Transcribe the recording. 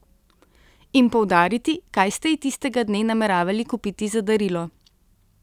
In poudariti, kaj ste ji tistega dne nameravali kupiti za darilo.